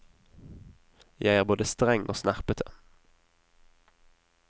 Jeg er både streng og snerpete.